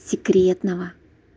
секретного